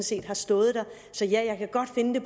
set har stået der så jeg kan godt finde